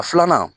A filanan